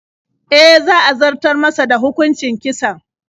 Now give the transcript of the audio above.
E, za a zartar masa da hukuncin kisan.